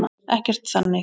Ekkert þannig.